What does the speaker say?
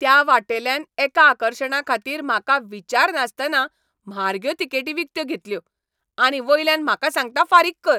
त्या वाटेल्यान एका आकर्शणाखातीर म्हाका विचारनासतना म्हारग्यो तिकेटी विकत्यो घेतल्यो, आनी वयल्यान म्हाका सांगता फारीक कर.